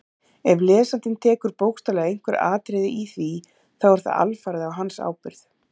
Ef lesandinn tekur bókstaflega einhver atriði í því þá er það alfarið á hans ábyrgð.